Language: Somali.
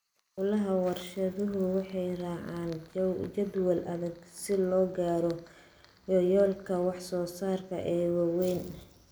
Hawlaha warshaduhu waxay raacaan jadwal adag si loo gaaro yoolalka wax soo saarka ee waaweyn.